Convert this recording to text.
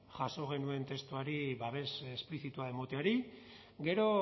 jaso genuen testuari babes esplizitua emateari gero